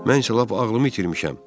Mən isə lap ağlımı itirmişəm.